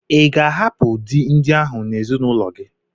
I ga-ahapụ di ndị ahụ n'ezinụlọ gi?